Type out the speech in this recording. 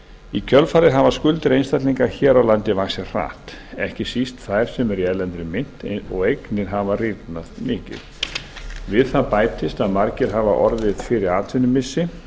í kjölfarið hafa skuldir einstaklinga hér á landi vaxið hratt ekki síst þær sem eru í erlendri mynt og eignir rýrnað mikið við það bætist að margir hafa orðið fyrir atvinnumissi